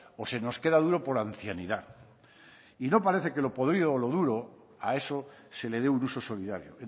o se nos queda duro por ancianidad y no parece que lo podrido o lo duro a eso se le dé un uso solidario